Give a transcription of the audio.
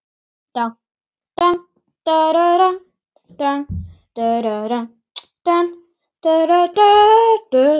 Kaffi og samvera í lokin.